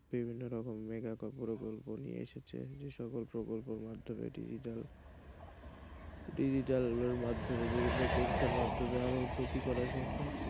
বিভিন্ন রকমের মেগা প্রকল্প নিয়ে এসেছে যে সকল প্রকল্পের মাধ্যমে digital digital এর মাধ্যমে বিভিন্ন কোর্সের মাধ্যমে আরও উন্নতি করা সম্ভব,